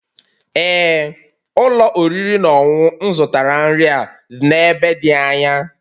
Ee ụlọ oriri na ọṅụṅụ m zụtara nri a n'ebe dị anya